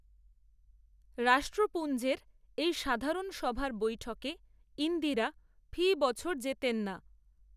রাষ্ট্রপূঞ্জের এই সাধারণ সভার বৈঠকে, ইন্দিরা, ফি বছর যেতেন না